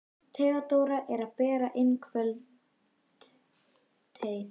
Theodóra er að bera inn kvöldteið.